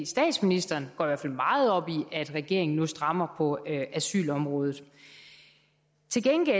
statsministeren går i hvert fald meget op i at regeringen nu strammer på asylområdet til gengæld